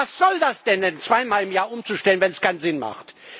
Was soll das denn, zweimal im Jahr umzustellen, wenn es keinen Sinn macht?